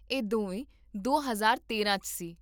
ਇਹ ਦੋਵੇਂ ਦੋ ਹਜ਼ਾਰ ਤੇਰਾਂ 'ਚ ਸੀ